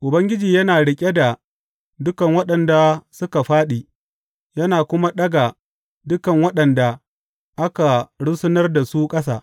Ubangiji yana riƙe da dukan waɗanda suka faɗi yana kuma ɗaga dukan waɗanda aka rusunar da su ƙasa.